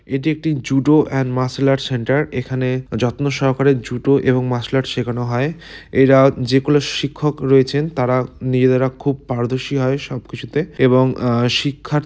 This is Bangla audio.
এটি একটি judo and martial art centre. এখানে যত্ন সহকারে জুডো এবং মারসেল আর্ট শেখানো হয়। এরা যে গুলো শিক্ষক রয়েছেন তারা নিজেরা খুব পারদর্শী হয় সব কিছুতে এবং অ্যা শিক্ষার--